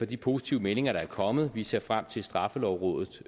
de positive meldinger der er kommet vi ser frem til at straffelovrådet